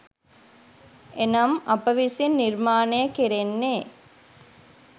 එනම් අප විසින් නිර්මාණය කෙරෙන්නේ